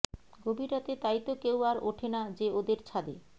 গভীর রাতে তাইতো কেউ আর ওঠে না যে ওদের ছাদে